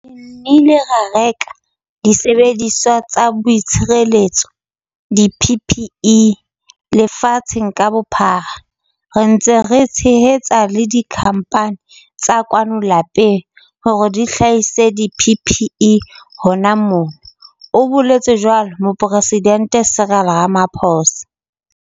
"Re nnile ra reka disebediswa tsa boitshireletso, di-PPE, lefatsheng ka bophara, re ntse re tshehetsa le dikhamphane tsa kwano lapeng hore di hlahise di-PPE hona mona," o boletse jwalo Moporesidente Cyril Ramaphosa.